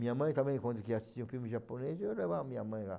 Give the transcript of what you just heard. Minha mãe também, quando queria assistir um filme japonês, eu levava minha mãe lá.